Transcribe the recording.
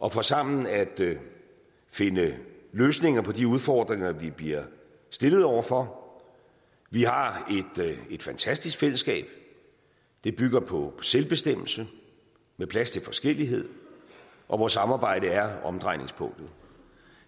og for sammen at finde løsninger på de udfordringer vi bliver stillet over for vi har et fantastisk fællesskab det bygger på selvbestemmelse med plads til forskellighed og hvor samarbejde er omdrejningspunktet